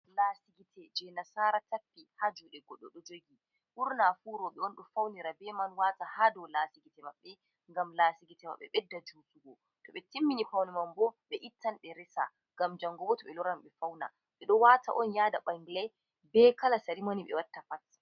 Lasi gitte je nasara tapi ha juɗe goɗɗo do jorgi, ɓurna fu roɓɓe on ɗo faunira be man wata ha dou lasi gitte maɓɓe Ngam lasi gitte maɓɓe ɓeɗɗa jutugo, to ɓe timmini faune mambo ɓe ittan be resa ngam jango bo to ɓe loran ɓe fauna ɓe ɗo wata'on ɓe yada ɓangilay, be kala sarimoni ɓe watta pat.